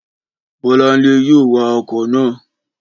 Bọ́lánlẹ́ yóò wa ọkọ̀ náà